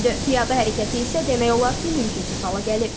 Piyada hərəkəti isə demək olar ki, mümkünsüz hala gəlib.